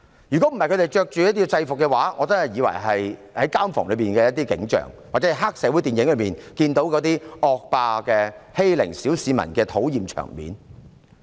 如果他們不是穿着制服，我還以為是監房內的景象，或是在黑社會電影中看到的惡霸欺凌小市民的討厭場面。